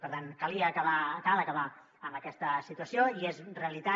per tant calia acabar cal acabar amb aquesta situació i és realitat